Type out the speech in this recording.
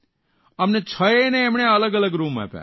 અમને છ યે ને એમણે અલગ અલગ રૂમ આપ્યા